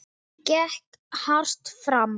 Gekk hart fram.